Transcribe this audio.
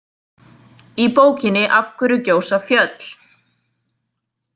Í bókinni Af hverju gjósa fjöll?